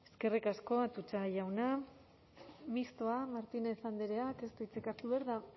eskerrik asko atutxa jauna mistoa martínez andreak ez du hitzik hartu behar